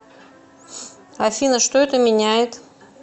афина что это меняет